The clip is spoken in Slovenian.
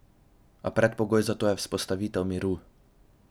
A predpogoj za to je vzpostavitev miru.